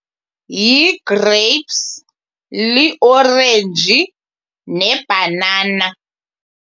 Yi-grapes, liorenji nebhanana.